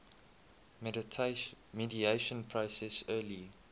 mediation process early